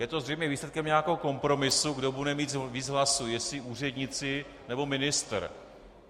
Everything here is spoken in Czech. Je to zřejmě výsledkem nějakého kompromisu, kdo bude mít víc hlasů, jestli úředníci, nebo ministr.